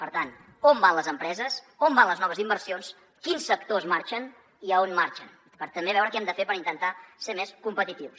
per tant on van les empreses on van les noves inversions quins sectors marxen i on marxen per també veure què hem de fer per intentar ser més competitius